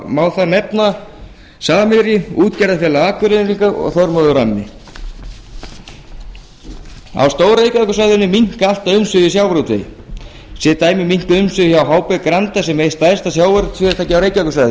má þar nefna samherja útgerðarfélag akureyringa og þormóð ramma á stór reykjavíkursvæðinu minnka alltaf umsvif í sjávarútvegi sem dæmi eru minnkuð umsvif hjá hb granda sem er eitt stærsta sjávarútvegsfyrirtæki á reykjavíkursvæðinu er